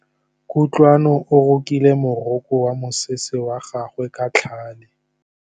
Kutlwanô o rokile morokô wa mosese wa gagwe ka tlhale.